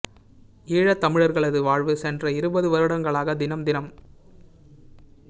ஈழத் தமிழர்களது வாழ்வு சென்ற இருபது வருடங்களாக தினம் தினம்